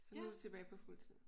Så nu er du tilbage på fuld tid?